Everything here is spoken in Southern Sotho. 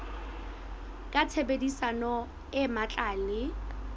ka tshebedisano e matla le